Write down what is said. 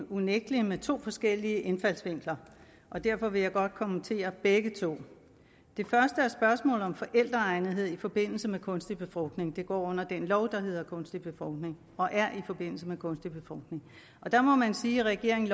unægtelig med to forskellige indfaldsvinkler og derfor vil jeg godt kommentere begge to det første er spørgsmålet om forældreegnethed i forbindelse med kunstig befrugtning det går under den lov der hedder kunstig befrugtning og er i forbindelse med kunstig befrugtning der må man sige at regeringen